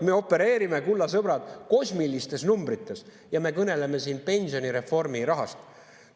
Me opereerime, kulla sõbrad, kosmiliste numbritega ja me kõneleme siin pensionireformi rahast!